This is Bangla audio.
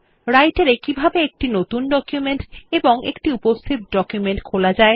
Writer এ কিভাবে একটি নতুন ডকুমেন্ট এবং একটি উপস্থিত ডকুমেন্ট খোলা যায়